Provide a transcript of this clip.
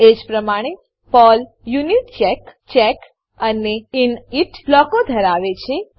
એજ પ્રમાણે Perl unitcheck check અને init બ્લોકો ધરાવે છે